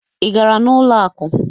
Ị gara n'ụlọ akụ?